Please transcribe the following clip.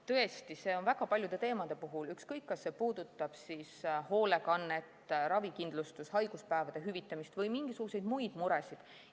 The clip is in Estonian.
Tõesti, see on nii väga paljude teemade puhul, ükskõik kas see puudutab hoolekannet, ravikindlustust, haiguspäevade hüvitamist või mingisuguseid muid muresid.